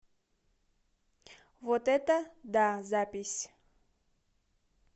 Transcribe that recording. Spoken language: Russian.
вот это да запись